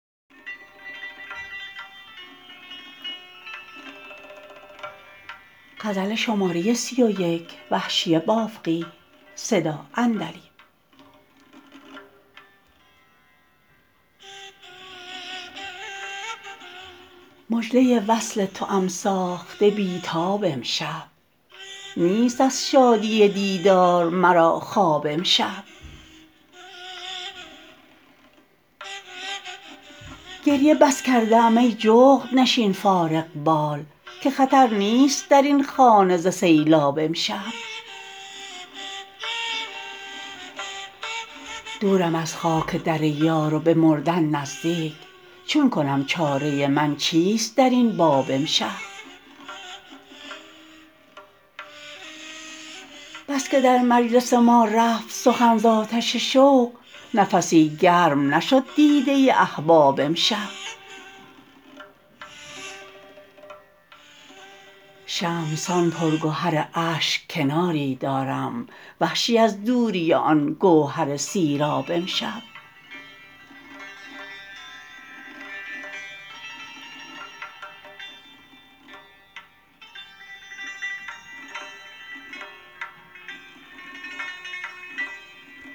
مژده وصل توام ساخته بیتاب امشب نیست از شادی دیدار مرا خواب امشب گریه بس کرده ام ای جغد نشین فارغ بال که خطر نیست در این خانه ز سیلاب امشب دورم از خاک در یار و به مردن نزدیک چون کنم چاره من چیست در این باب امشب بسکه در مجلس ما رفت سخن ز آتش شوق نفسی گرم نشد دیده احباب امشب شمع سان پرگهر اشک کناری دارم وحشی از دوری آن گوهر سیراب امشب